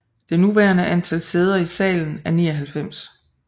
Det nuværende antal sæder i salen er 99